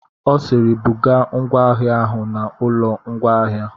Ọ sịịrị, bugaa ngwa ahịa ahụ n'ụlọ ngwaahịa.